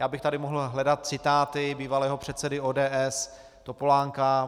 Já bych tady mohl hledat citáty bývalého předsedy ODS Topolánka.